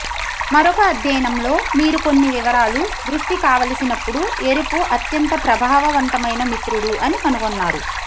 మరొక అధ్యయనంలో మీరు కొన్ని వివరాలు దృష్టి కావలసినప్పుడు ఎరుపు అత్యంత ప్రభావవంతమైన మిత్రుడు అని కనుగొన్నారు